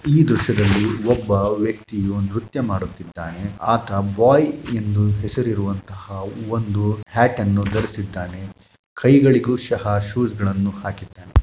ಈ ದೃಶ್ಯದಲ್ಲಿ ಒಬ್ಬ ವ್ಯಕ್ತಿಯು ನೃತ್ಯ ಮಾಡುತ್ತಿದ್ದಾನೆ ಆತ ಬಾಯ್ ಹೆಸರು‌ ಇರುವಂತಹ ಒಂದು ಹ್ಯಾಟ್‌ನ್ನು ಧರಿಸಿದ್ದಾನೆ ಕೈಗಳಿಗೂ ಸಹ ಶೂಗಳನ್ನು ಹಾಕಿದ್ದಾನೆ.